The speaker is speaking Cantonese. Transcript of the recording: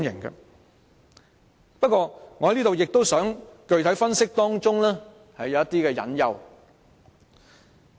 然而，我亦想在此具體分析當中的一些隱憂。